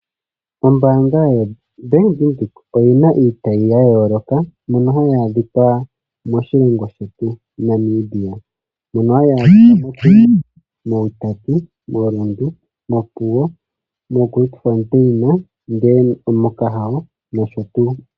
Ombaanga yoBank Windhoek oyi na iitayi ya yooloka mbyono hayi adhika moshilongo shetu Namibia. Mono hayi adhika moTsumeb, mOutapi, moRundu, mOpuwo, moGrootfontein, mOkahao nosho tuu.